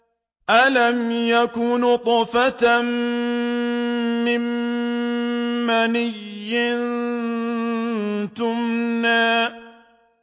أَلَمْ يَكُ نُطْفَةً مِّن مَّنِيٍّ يُمْنَىٰ